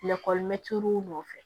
nɔfɛ